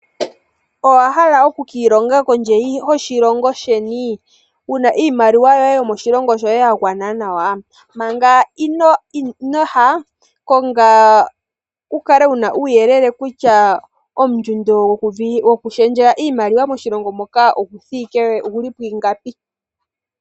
Owa hala oku kiilonga kondje yoshilongo sheni? Wuna iimaliwa yoye yomoshilongo shoye gagwana nawa, manga inoya konga wu kale wuna uuyelele wagwana nawa kutya ondjundo yoku pingakanitha iimaliwa moshilongo moka oyili pwiingapi.